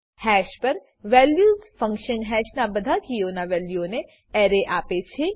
hash પર values function હેશના બધા કીઓના વેલ્યુનો એરે આપેછે